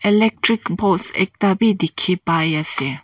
electric post ekta wi dikhi pai ase.